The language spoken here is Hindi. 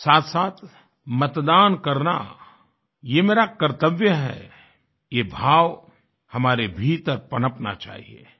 साथसाथ मतदान करना ये मेरा कर्त्तव्य है ये भाव हमारे भीतर पनपना चाहिये